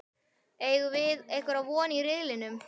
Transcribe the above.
Eigum við einhverja von í riðlinum?